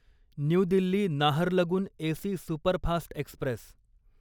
new Delhi Naharlagun AC superfast Express